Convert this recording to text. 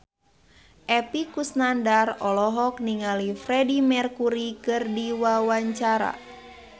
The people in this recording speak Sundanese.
Epy Kusnandar olohok ningali Freedie Mercury keur diwawancara